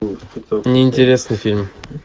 не интересный фильм